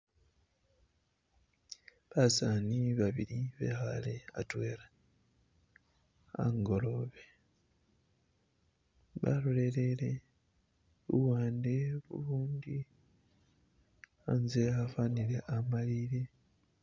Basaani babili bekhaale atwela angolobe balolele luwande ulundi anze afanile amalile.